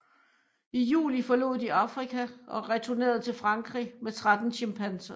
I juli forlod de Afrika og returnerede til Frankrig med 13 chimpanser